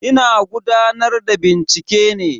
Ina gudanar da bincike ne.